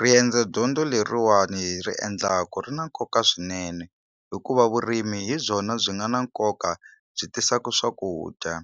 Riendzo dyondzo leriwani hi ri endlaku ri na nkoka swinene hikuva vurimi hi byona byi nga na nkoka byi tisaku swakudya